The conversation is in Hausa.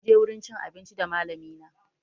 Munje wurin cin abinci da malami na